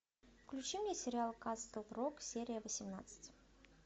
включи мне сериал касл рок серия восемнадцать